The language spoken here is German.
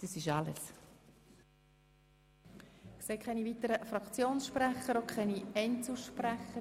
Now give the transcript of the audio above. Es gibt keine weiteren Wortmeldungen seitens der Fraktionen und auch nicht seitens von Einzelsprechern.